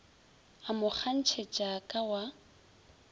a mo kgantšhetša ka wa